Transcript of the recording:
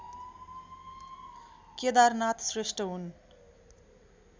केदारनाथ श्रेष्ठ हुन्